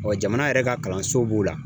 Ɔ jamana yɛrɛ ka kalanso b'o la